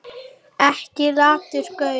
Ekki latur gaur!